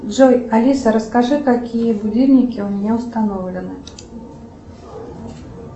джой алиса расскажи какие будильники у меня установлены